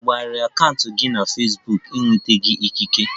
A banyere akaụntụ fesbuk gi na-enwetaghi ikike?